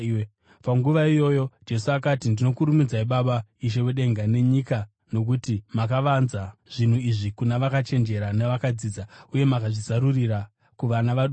Panguva iyoyo Jesu akati, “Ndinokurumbidzai Baba, Ishe wedenga nenyika, nokuti makavanza zvinhu izvi kuna vakachenjera navakadzidza, uye mukazvizarurira kuvana vaduku.